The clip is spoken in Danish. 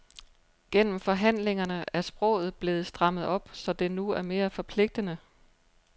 Gennem forhandlingerne er sproget blevet strammet op, så det nu er mere forpligtende.